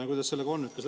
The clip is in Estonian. Kuidas sellega on?